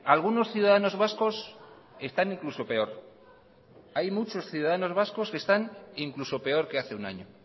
algunos ciudadanos vascos están incluso peor hay muchos ciudadanos vascos que están incluso peor que hace un año